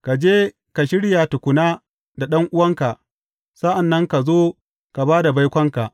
Ka je ka shirya tukuna da ɗan’uwanka; sa’an nan ka zo ka ba da baikonka.